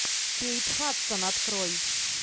кейт хадсон открой